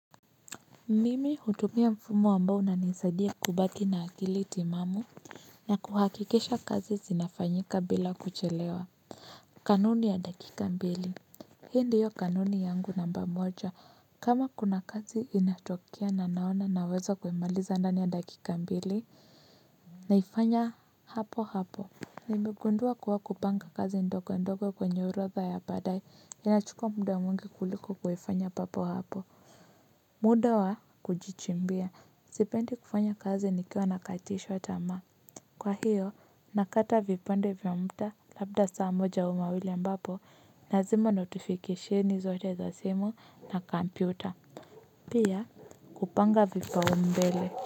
Mimi hutumia mfumo ambao unanisadia kubaki na akili timamu. Na kuhakikisha kazi zinafanyika bila kuchelewa. Kanuni ya dakika mbili. Hii ndiyo kanuni yangu namba moja. Kama kuna kazi inatokea na naona naweza kuimaliza ndani ya dakika mbili. Naifanya hapo hapo. Nimegundua kuwa kupanga kazi ndogo ndogo kwenye orodha ya baadae. Inachukua muda mwingi kuliko kuifanya papo hapo. Muda wa kujichimbia sipendi kufanya kazi nikiwa nakatishwa tamaa. Kwa hiyo, nakata vipande vya mda labda saa moja au mawili ambapo nazima notifikesheni zote za simu na Kompyuta. Pia, kupanga vipaumbele.